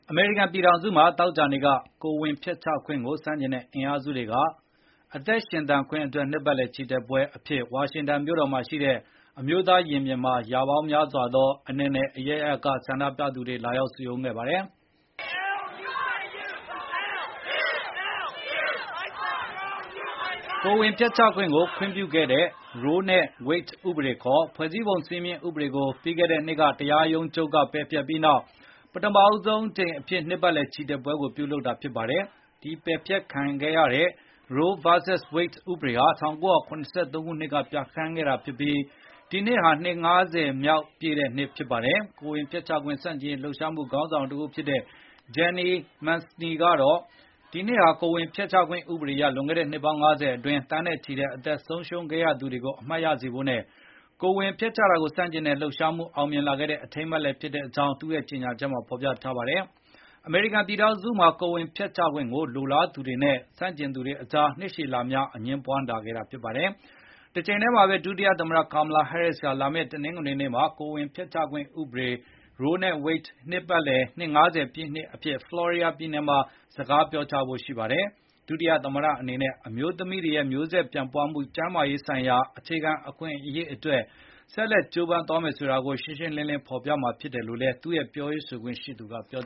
အမေရိကန်ပြည်ထောင်စုမှာ သောကြာနေ့က ကိုယ်ဝန်ဖျက်ချခွင့်ကို ဆန့်ကျင်တဲ့ အင်အားစုတွေက “အသက်ရှင်သန်ခွင့် အတွက် နှစ်ပတ်လည်ချီတက်ပွဲ” အဖြစ် ဝါရှင်တန်မြို့တော်မှာရှိတဲ့ အမျိုးသားရင်ပြင်မှာ အနယ်နယ် အရပ်ရပ်က လာရောက်စုရုံးခဲ့ကြပါတယ်။ ကိုယ်ဝန်ဖျက်ချခွင့်ကို ခွင့်ပြုခဲ့တဲ့ Roe v Wade ဥပဒေခေါ် ဖွဲ့စည်းပုံ စည်းမျဉ်းဥပဒေကို ပြီးခဲ့တဲ့နှစ်က တရားရုံးချုပ်က ပယ်ဖျက်ပြီးနောက် ပထမဆုံးအကြိမ် အဖြစ် နှစ်ပတ်လည် ချီတက်ပွဲကို ပြုလုပ်ကြတာဖြစ်ပါတယ်။ ပယ်ဖျက်ခံခဲ့ရတဲ့ Roe v Wade ဥပဒေဟာ ၁၉၇၃ ခုနှစ်က ပြဌာန်းခဲ့တာဖြစ်ပြီး ဒီနှစ်ဟာ နှစ်၅၀ မြောက် နှစ်ပတ်လည်နေ့လည်း ဖြစ်ပါတယ်။ ကိုယ်ဝန်ဖျက်ချခွင့် ဆန့်ကျင်ရေး လှုပ်ရှားမှုခေါင်းဆောင်တဦးဖြစ်တဲ့ Jeanne Mancini ကတော့ ဒီနှစ်ဟာကိုယ်ဝန်ဖျက်ချ ခွင့်ဥပဒေအရ လွန်ခဲ့တဲ့နှစ်ပေါင်း ၅၀ အတွင်း သန်းနဲ့ချီအသက်ဆုံးရှုံးခဲ့ရတာတွေကို အမှတ်ရစေဖို့ နဲ့ ကိုယ်ဝန်ဖျက်ချတာကို ဆန့်ကျင်တဲ့လှုပ်ရှားမှု အောင်မြင်လာခဲ့တဲ့ အထိမ်းအမှတ်လည်းဖြစ်ကြောင်း သူ့ရဲ့ ကြေညာချက်ထဲမှာ ဖေါ်ပြထားပါတယ်။ အမေရိကန်ပြည်ထောင်စုမှာ ကိုယ်ဝန်ဖျက်ချခွင့်ကို လိုလားသူတွေနဲ့ ဆန့်ကျင်သူတွေအကြား နှစ်ရှည်လများ အငြင်းပွား လာခဲ့တာဖြစ်ပါတယ်။ တချိန်ထဲမှာပဲ ဒုတိယသမ္မတ Kamala Harris ဟာ လာမယ့် တနင်္ဂနွေနေ့မှာ ကိုယ်ဝန်ဖျက်ချခွင့်ဥပဒေ Roe v Wade နှစ် ၅၀ ပြည့် နှစ်ပတ်လည်အဖြစ် ဖလော်ရေဒါပြည်နယ်မှာ စကားပြောကြားဖို့ရှိပါတယ်။ ဒုတိယ သမ္မတ အနေနဲ့ အမျိုးသမီးတွေရဲ့ မျိုးဆက်ပြန့်ပွားမှု ကျန်းမာရေးဆိုင်ရာ အခြေခံအခွင့်အရေးအတွက် ဆက်လက်ကျိုးပမ်းသွားမယ်ဆိုတာကို ရှင်းရှင်းလင်းလင်း ဖေါ်ပြမှာဖြစ်တယ်လို့ သူရဲ့ပြောရေးဆိုခွင့်ရှိသူ Kirsten Allen က ပြော